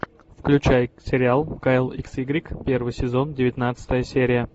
включай сериал кайл икс игрек первый сезон девятнадцатая серия